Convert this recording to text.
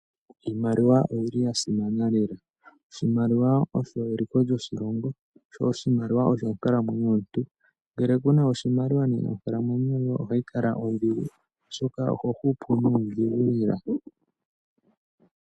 Iimaliwa oyili yasimana lela oshimaliwa osho eliko lyo shilongo sho oshimaliwa osho onkalamwenyo yomuntu, ngele kuna oshimaliwa nena onkalamwenyo yoye ohayi kala odhigu oshoka oho hupu nuudhigu lela.